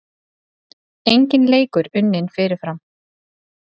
Enginn leikur unninn fyrirfram